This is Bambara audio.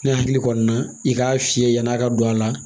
Ne hakili kɔni na i k'a fiyɛ yan'a ka don a la